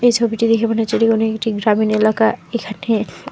ছবিটা দেখে মনে হচ্ছে এটি কোনো একটি গ্রামীণ এলাকা এখানে--